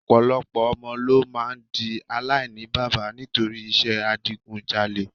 Ọ̀pọ̀lọpọ̀ ọmọ ló máa di aláìníbaba nítorí iṣẹ́ adigunjalè